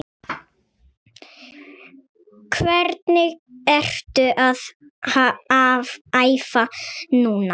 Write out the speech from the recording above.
Hvernig ertu að æfa núna?